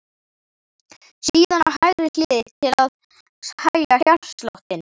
Síðan á hægri hlið til að hægja hjartsláttinn.